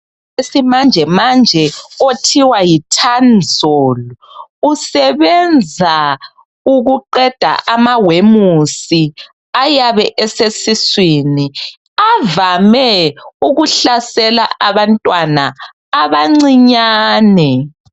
Isimanjemanje othiwa yi Tanzol. Usebenza ukuqeda amawemusi ayabe esesiswini avame ukuhlasela abantwana abancinyane.